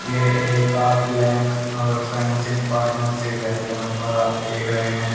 ये एक कार्टलैम अवे फैंसिंग पार्टनरशिप है जहां पर आप देख रहे हैं।